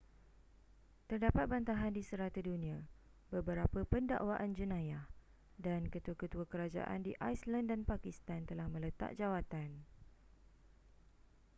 terdapat bantahan di serata dunia beberapa pendakwaan jenayah dan ketua-ketua kerajaan di iceland dan pakistan telah meletak jawatan